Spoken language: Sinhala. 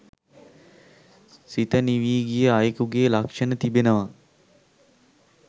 සිත නිවි ගිය අයෙකුගේ ලක්ෂන තිබෙනවා